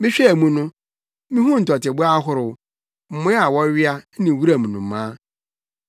Mehwɛɛ mu no, mihuu ntɔteboa ahorow, mmoa a wɔwea ne wuram nnomaa.